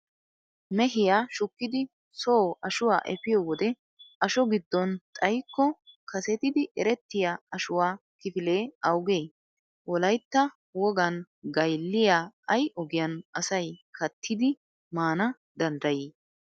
Mehiya shukkidi soo ashuwa efiyo wode asho giddon xayikko kasetidi erettiya ashuwa kifilee awugee? Wolaytta wogan gaylliya ay ogiyan asay kattidi maana danddayii?